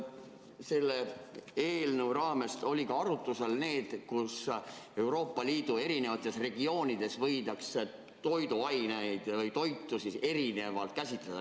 Kas selle eelnõu raames oli ka arutusel see, et Euroopa Liidu eri regioonides võidakse toiduaineid või toitu erinevalt käsitleda?